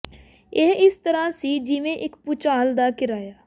ਇਹ ਇਸ ਤਰ੍ਹਾਂ ਸੀ ਜਿਵੇਂ ਇੱਕ ਭੁਚਾਲ ਦਾ ਕਿਰਾਇਆ